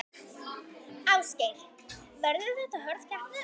Ásgeir: Verður þetta hörð keppni?